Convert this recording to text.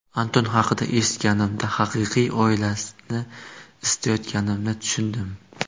Anton haqida eshitganimda haqiqiy oilani istayotganimni tushundim.